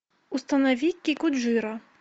установи кикуджиро